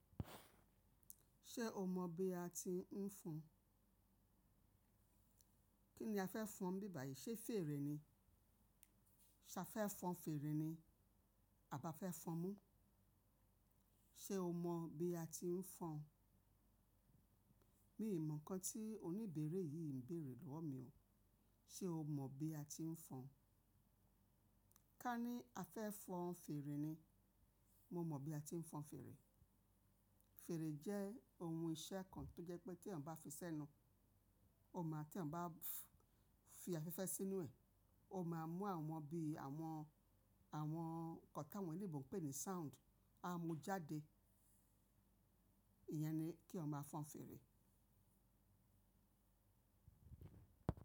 Ṣé o mọ̀ bí a ti ń fọn? Kí ni a fẹ́ fọn bíbà yìí? Ṣé fèrè ni? Ṣa fẹ́ fọn fèrè ni? Aba fẹ́ fọn mú. Ṣé o mọ̀ bí a ti ń fọn? Mi ò mọ̀ nǹkan tí oníbèrè yìí ń bèèrè lọ́wọ́ mi o. Ṣé o mọ̀ bí a ti ń fọn? Ká ní a fẹ́ fọn fèrè ni. Mo mọ̀ bí a ti ń fọn fèrè. Fèrè jẹ́ ohun iṣẹ́ kan tó jẹ́ pé tí ẹ bá fi sẹ́nu, o máa tí ẹ bá fi afẹ́fẹ́ sínú ẹ̀, o máa mú àwọn bi àwọn, àwọn nnkan ti áwọn oloyinbo ń pè ní sound, á mú jáde. Iyẹn ni kí ẹ máa fọn fèrè.